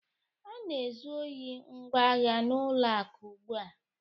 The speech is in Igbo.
A na-ezu ohi ngwa agha n'ụlọ akụ ugbu a